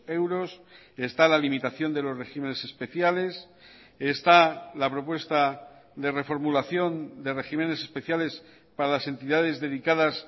euros está la limitación de los regímenes especiales está la propuesta de reformulación de regímenes especiales para las entidades dedicadas